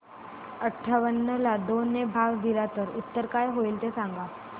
अठावन्न ला दोन ने भाग दिला तर उत्तर काय येईल ते सांगा